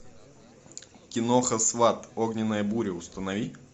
киноха сват огненная буря установи